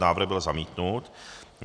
Návrh byl zamítnut.